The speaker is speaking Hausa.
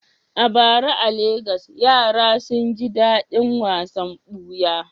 A bara a Legas, yara sun ji daɗin wasan buya.